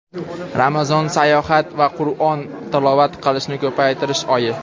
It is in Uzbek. Ramazon saxovat va Qur’on tilovat qilishni ko‘paytirish oyi.